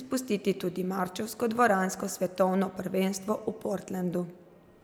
izpustiti tudi marčevsko dvoransko svetovno prvenstvo v Portlandu.